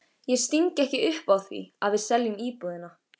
Ég sting ekki upp á því að við seljum íbúðina.